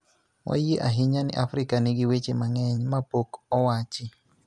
Wayie ahinya ni Afrika nigi weche mang�eny ma pok owachi,